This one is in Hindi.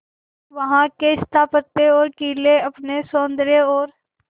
वहां के स्थापत्य और किले अपने सौंदर्य और